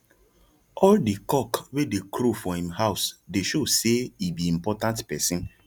all the cock wey dey crow for him house dey show say he be important person